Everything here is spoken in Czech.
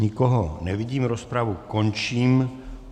Nikoho nevidím, rozpravu končím.